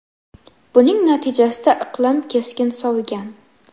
Buning natijasida iqlim keskin sovigan.